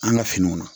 An ka finiw na